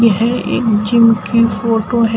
यह एक जिम की फोटो है।